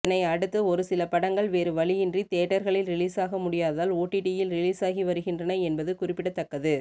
இதனை அடுத்து ஒரு சில படங்கள் வேறு வழியின்றி தியேட்டர்களில் ரிலீசாக முடியாததால் ஓடிடியில் ரிலீசாகி வருகின்றன என்பது குறிப்பிடத்தக்கது